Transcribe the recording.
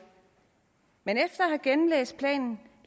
men efter at have gennemlæst planen